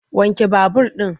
Wanke babur ɗin!